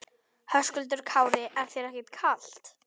Höskuldur Kári: Er þér ekkert kalt?